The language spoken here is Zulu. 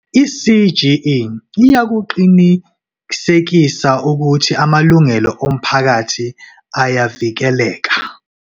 I-CGE iyakuqinisekisa ukuthi amalungelo omphakathi ayavikeleka.